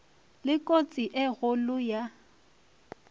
le kotsi e kgolo ya